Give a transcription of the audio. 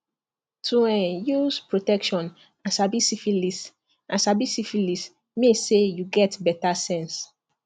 to um use protection and sabi syphilis and sabi syphilis mean say you get better sense